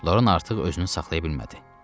Loran artıq özünü saxlaya bilmədi.